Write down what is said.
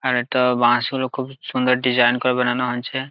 আর একটা বাশ হলো খুব ডিসাইন করে বানানো হয়েছে।